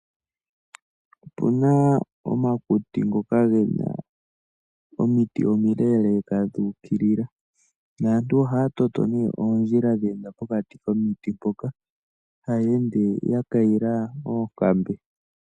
Otuna omakuti ngoka ge na omiti omi leeleka dhu ukilila. Naantu oha ya toto nee oondjila dheenda pokati komiti mpoka ,taya ende ya kayila oonkambe.